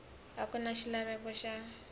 a ku na xilaveko xa